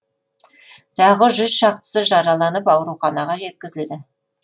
тағы жүз шақтысы жараланып ауруханаға жеткізілді